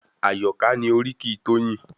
Àyọ̀ká ni oríkì Toyin.